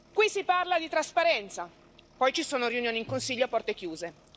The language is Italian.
Qui si parla di trasparenza e poi ci sono riunioni in Consiglio a porte chiuse.